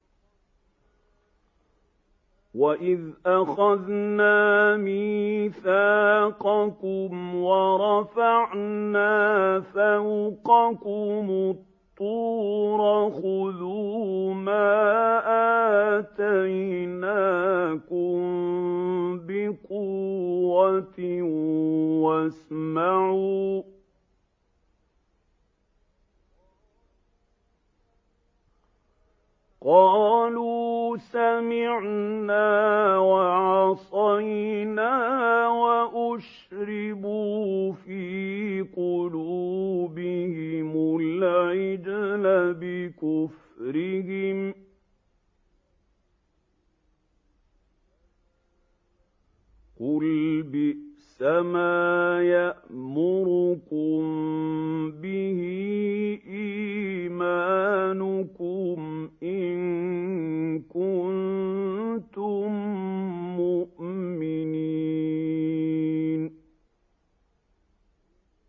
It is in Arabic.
وَإِذْ أَخَذْنَا مِيثَاقَكُمْ وَرَفَعْنَا فَوْقَكُمُ الطُّورَ خُذُوا مَا آتَيْنَاكُم بِقُوَّةٍ وَاسْمَعُوا ۖ قَالُوا سَمِعْنَا وَعَصَيْنَا وَأُشْرِبُوا فِي قُلُوبِهِمُ الْعِجْلَ بِكُفْرِهِمْ ۚ قُلْ بِئْسَمَا يَأْمُرُكُم بِهِ إِيمَانُكُمْ إِن كُنتُم مُّؤْمِنِينَ